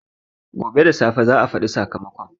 Gobe da safe za a faɗi sakamakon